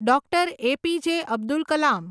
Dr. A P. J. Abdul Kalam